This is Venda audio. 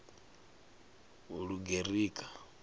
lugerika